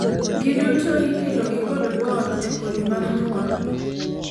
giduto ikelo gi kod both e kodhi mar nyuol